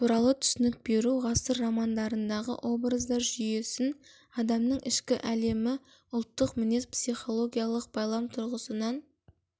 туралы түсінік беру ғасыр романдарындағы образдар жүйесін адамның ішкі әлемі ұлттық мінез психологиялық байлам тұрғысынан